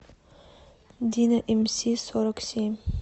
дино эмси сорок семь